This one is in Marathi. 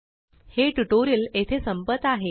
हे ट्यूटोरियल येथे संपत आहे